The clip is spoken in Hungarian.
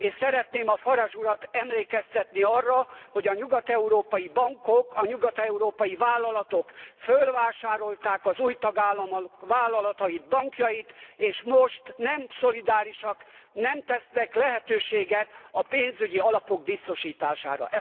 És szeretném a Farage urat emlékeztetni arra, hogy a nyugat európai bankok, a nyugat európai vállalatok fölvásárolták az új tagállamok vállalatait, bankjait, és most nem szolidárisak, nem tesznek lehetőséget a pénzügyi alapok biztosítására.